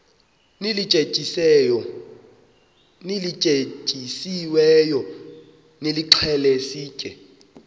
lityetyisiweyo nilixhele sitye